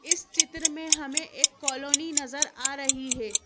इस चित्र में हमें एक कॉलोनी नजर आ रही है।